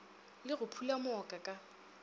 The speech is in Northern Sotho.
le go phula mooka ka